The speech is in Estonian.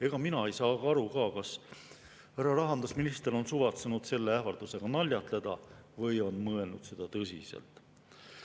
Ega mina ka aru ei saa, kas härra rahandusminister on suvatsenud selle ähvardusega naljatleda või on mõelnud seda tõsiselt.